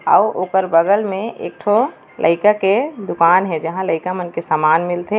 अउ ओकर बगल में एक ठो लईका के दुकान हे जहाँ लईका मन के सामान मिलथे।